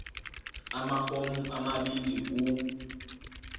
amafomu amabili u